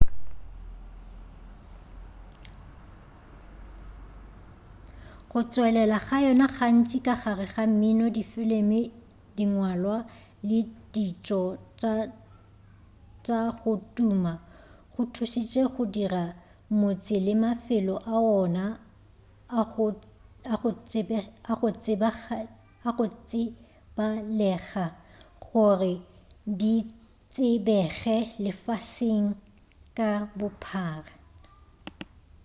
go tšwelela ga yona gantši ka gare ga mmino difilimi dingwalwa le ditšo tša go tuma go thušitše go dira motse le mafelo a wona a go tsebalega gore di tsebege lefaseng ka bophara